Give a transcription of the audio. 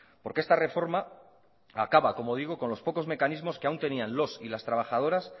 porque esta reforma acaba como digo con los pocos mecanismos que aún tenían los y las trabajadoras